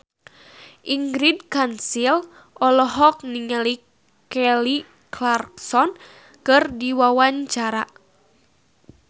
Ingrid Kansil olohok ningali Kelly Clarkson keur diwawancara